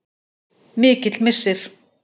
Mikill missir.